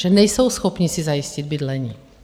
Že nejsou schopni si zajistit bydlení.